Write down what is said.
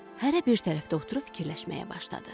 Hərə bir tərəfdə oturub fikirləşməyə başladı.